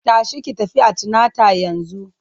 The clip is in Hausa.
Tashi ki tafi antinata yanzu!